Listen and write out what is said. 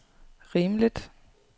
rimeligt